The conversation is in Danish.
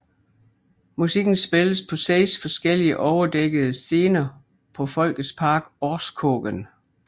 Musikken spilles på seks forskellige overdækkede scener på Folkets Park Orrskogen